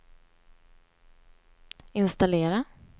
installera